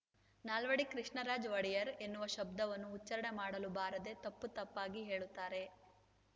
ನಾಲ್ವಡಿ ಕೃಷ್ಣರಾಜ ಒಡೆಯರ್‌ ಎನ್ನುವ ಶಬ್ದವನ್ನು ಉಚ್ಚಾರಣೆ ಮಾಡಲು ಬಾರದೆ ತಪ್ಪುತಪ್ಪಾಗಿ ಹೇಳುತ್ತಾರೆ